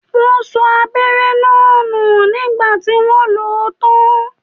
Wọn sọ abẹ́rẹ́ náà nù nígbà tí wọ́n lo ó tán